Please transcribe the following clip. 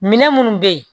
Minɛn minnu bɛ yen